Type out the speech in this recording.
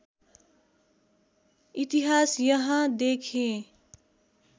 इतिहास यहाँ देखेँ